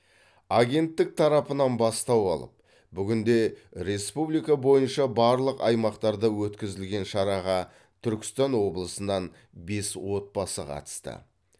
агенттік тарапынан бастау алып бүгінде республика бойынша барлық аймақтарда өткізілген шараға түркістан облысынан бес отбасы қатысты